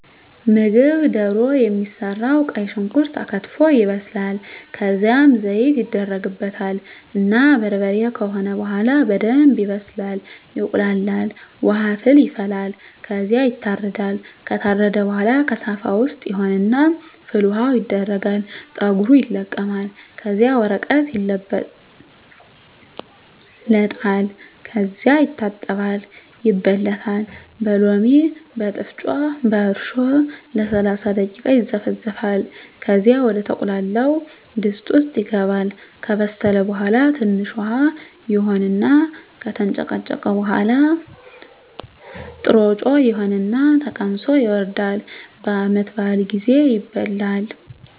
ምግብ ደሮ የሚሰራዉ ቀይ ሽንኩርት ተከትፎ ይበስላል ከዝያም ዘይት ይደረግበታል እና በርበሬ ከሆነ በሆላ በደንብ ይበስላል ይቁላላል። ዉሀ ፍል ይፈላል ከዝያ ይታረዳል። ከታረደ በሆላ ከሳፋ ዉስጥ ይሆን እና ፍል ዉሀዉ ይደረጋል ፀጉሩ ይለቀማል ከዚያ በወረቀት ይለበለጣል ከዚያ ይታጠባል ይበለታል በሎሚ፣ በጥሮጮ፣ በእርሾ ለሰላሳ ደቂቃ ይዘፈዘፋል ከዚያ ወደ ተቁላላዉ ድስት ዉስጥ ይገባል። ከበሰለ በሆላ ትንሽ ዉሀ ይሆን እና ከተንጨቀጨቀ በሆላ ጥሮጮ ይሆን እና ተቀምሶ ይወርዳል። በዓመት በአል ጊዜ ይበላል።